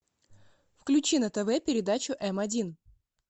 включи на тв передачу м один